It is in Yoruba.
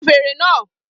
Fun fèrè náà!